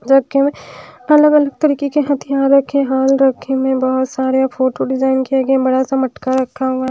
जो की अलग अलग तरीके के हथियार रखे हाल रखे में बहोत सारे फोटो डिजाइन किया गया बड़ा सा मटका रखा हुआ है।